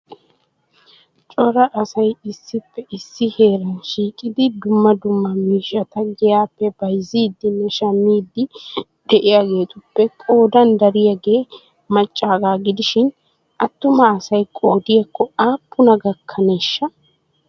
cora asay issippe issi heeran shiiqidi dumma dumma miishshat giyappe bayzzidinne shammidi de'iyaagetuppe qoodan dariyaagee maccaaga gidishin attuma asay qoodiyakko aappuna gakkaneshsha!